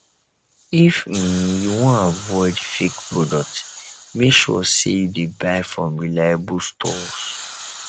if um you wan avoid fake product make sure sey you dey buy from reliable stores